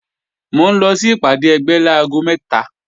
Mò ń lọ sí ìpàdé ẹgbẹ́ láago mẹ́ta